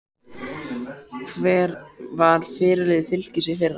Hver var fyrirliði Fylkis í fyrra?